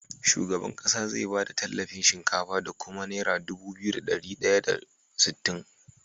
Shugaban ƙasa zai bada tallafin shinkafa da kuma naira Dubu biyu da dari daya da sittin